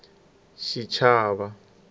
xichava